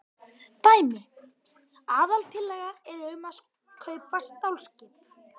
Dæmi: Aðaltillaga er um að kaupa stálskip.